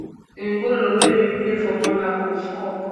embolo wey bin play for monaco score